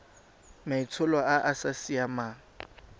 maitsholo a a sa siamang